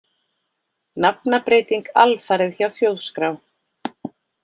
Nafnabreyting alfarið hjá Þjóðskrá